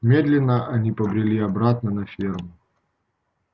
медленно они побрели обратно на ферму